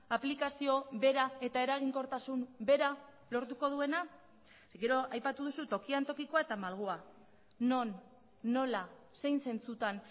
aplikazio bera eta eraginkortasun bera lortuko duena gero aipatu duzu tokian tokikoa eta malgua non nola zein zentzutan